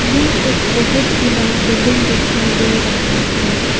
यह एक बहुत ही बड़ा बिल्डिंग दिखाई दे रहा है।